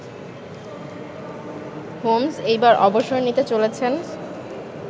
Holmes এইবার অবসর নিতে চলেছেন